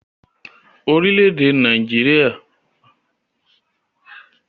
Nàìjíríà jẹ́ orílẹ̀-èdè ti ìwọ oorùn tí wọ́n mọ ń fún ilẹ̀ tí ó fẹ̀